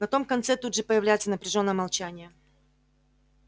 на том конце тут же появляется напряжённое молчание